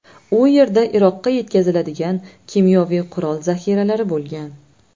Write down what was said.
U yerda Iroqqa yetkaziladigan kimyoviy qurol zaxiralari bo‘lgan.